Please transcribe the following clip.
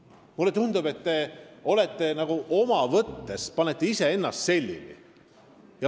Mulle tundub, et te panete iseennast nagu omast võttest selili.